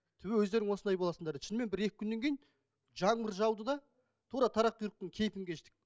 түбі өздерің осылай боласыңдар дейді шынымен бір екі күннен кейін жаңбыр жауды да тура қарақұйрықтың кейпін кештік